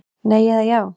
Nei eða já.